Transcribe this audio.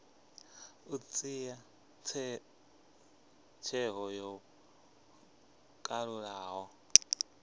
u dzhia tsheo yo kalulaho